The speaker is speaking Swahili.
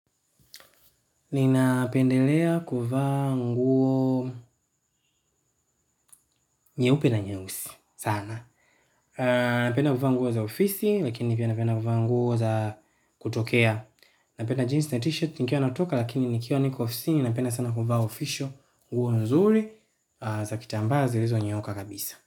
Ninapendelea kuvaa nguo nyeupe na nyeusi sana. Napenda kuvaa nguo za ofisi lakini pia napenda kufa nguo za kutokea. Napenda jeans na t-shirt nikiwa natoka lakini nikiwa niko ofisini napenda sana kuvaa official (kiofisi)nguo nzuri za kitambaa zilizonyooka kabisa.